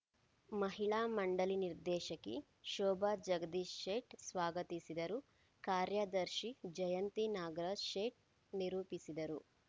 ಮಹಿಳಾ ಮಂಡಳಿ ನಿರ್ದೇಶಕಿ ಶೋಭಾ ಜಗದೀಶ್‌ ಶೇಟ್‌ ಸ್ವಾಗತಿಸಿದರು ಕಾರ್ಯದರ್ಶಿ ಜಯಂತಿ ನಾಗರಾಜ್‌ ಶೇಟ್‌ ನಿರೂಪಿಸಿದರು